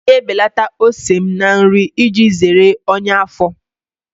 M ga-ebelata ose m na-eri iji zere ọnyá afọ.